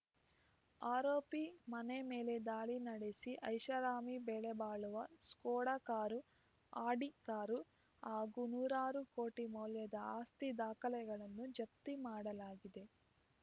ಆರೋಪಿ ಮನೆ ಮೇಲೆ ದಾಳಿ ನಡೆಸಿ ಐಷಾರಾಮಿ ಬೆಲೆ ಬಾಳುವ ಸ್ಕೋಡಾ ಕಾರು ಅಡಿ ಕಾರು ಹಾಗೂ ನೂರಾರು ಕೋಟಿ ಮೌಲ್ಯದ ಆಸ್ತಿ ದಾಖಲೆಗಳನ್ನು ಜಪ್ತಿ ಮಾಡಲಾಗಿದೆ